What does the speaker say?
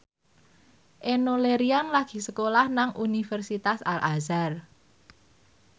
Enno Lerian lagi sekolah nang Universitas Al Azhar